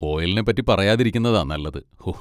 ഓയിലിനെ പറ്റി പറയാതിരിക്കുന്നതാ നല്ലത്, ഊഹ്!